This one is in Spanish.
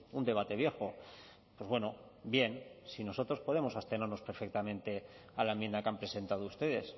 un debate viejo pues bueno bien si nosotros podemos abstenernos perfectamente a la enmienda que han presentado ustedes